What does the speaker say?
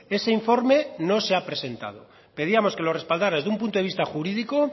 ese informe no se ha presentado pedíamos que lo respaldara desde un punto de vista jurídico